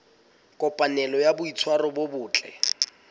kopanelo ya boitshwaro bo botle